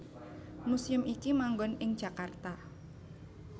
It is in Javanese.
Museum iki manggon ing Jakarta